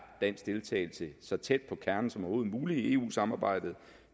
dansk deltagelse så tæt på kernen som overhovedet muligt i eu samarbejdet